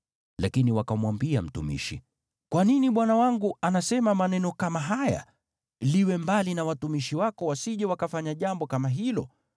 Lakini wakamwambia mtumishi, “Kwa nini bwana wangu anasema maneno kama haya? Liwe mbali na watumishi wako wasije wakafanya jambo kama hilo!